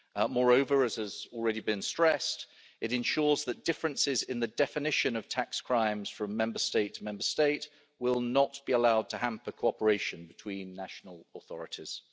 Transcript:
Moreover, as has already been stressed, it ensures that differences in the definition of tax crimes from Member State to Member State will not be allowed to hamper cooperation between national authorities.